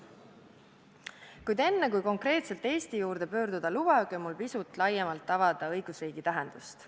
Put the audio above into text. Kuid enne kui konkreetselt Eesti juurde pöörduda, lubage mul pisut laiemalt avada õigusriigi tähendust.